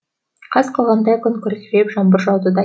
қас қылғандай күн күркіреп жаңбыр жауды да